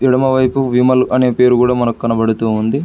ఎడమ వైపు విమల్ అనే పేరు గూడ మనకి కనబడుతూ ఉంది.